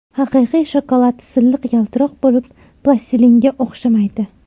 Haqiqiy shokolad silliq yaltiroq bo‘lib, plastilinga o‘xshamaydi.